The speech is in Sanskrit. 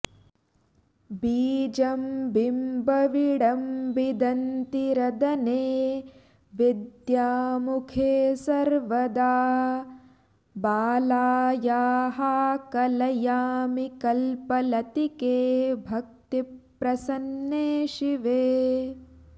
बीजं बिम्बविडम्बिदन्तिरदने विद्यामुखे सर्वदा बालायाः कलयामि कल्पलतिके भक्तिप्रसन्ने शिवे